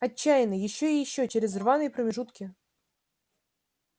отчаянно ещё и ещё через равные промежутки